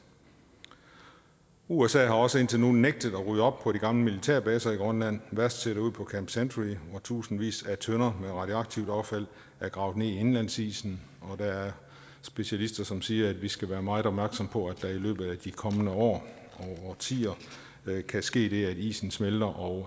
usa har også indtil nu nægtet at rydde op på de gamle militærbaser i grønland værst ser det ud på camp century hvor tusindvis af tønder med radioaktivt affald er gravet ned i indlandsisen og der er specialister som siger at vi skal være meget opmærksomme på at der i løbet af de kommende år og årtier kan ske det at isen smelter og